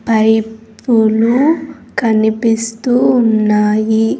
పైపులు కనిపిస్తూ ఉన్నాయి.